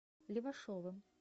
левашовым